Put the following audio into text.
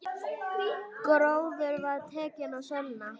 Gróður var tekinn að sölna.